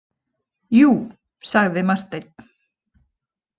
Jú, sagði Marteinn.